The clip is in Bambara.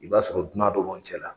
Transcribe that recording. I b'a sɔrɔ dunan dɔ b'an cɛ la